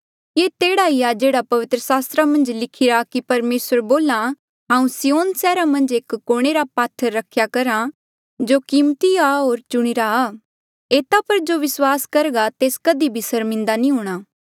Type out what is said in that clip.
ये तेह्ड़ा ही आ जेहड़ा पवित्र सास्त्रा मन्झ भी लिखिरा कि परमेसर बोल्हा हांऊँ सिय्योन सैहरा मन्झ एक कोणे रा पात्थर रख्या करहा जो कीमती आ होर चुणीरा आ एता पर जो विस्वास करघा तेस कधी भी सर्मिन्दा नी हूंणां